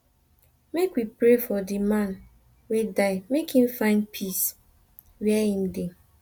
make we pray for di man wey die make im find peace where im dey